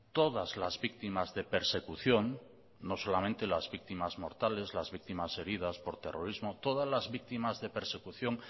todas las víctimas de persecución no solamente las víctimas mortales las víctimas heridas por terrorismo todas las víctimas de persecución